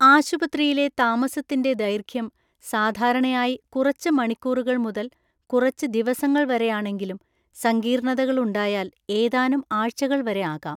ആശുപത്രിയിലെ താമസത്തിന്‍റെ ദൈർഘ്യം സാധാരണയായി കുറച്ച് മണിക്കൂറുകൾ മുതൽ കുറച്ച് ദിവസങ്ങൾ വരെയാണെങ്കിലും സങ്കീർണതകൾ ഉണ്ടായാൽ ഏതാനും ആഴ്ചകൾ വരെ ആകാം.